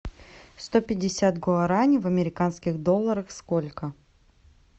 сто пятьдесят гуарани в американских долларах сколько